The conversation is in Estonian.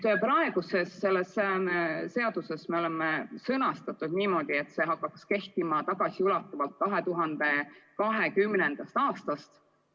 Praeguses eelnõus me oleme sõnastanud nii, et seadus hakkaks kehtima tagasiulatuvalt 2020. aastast.